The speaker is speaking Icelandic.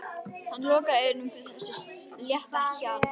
Hann lokaði eyrunum fyrir þessu létta hjali.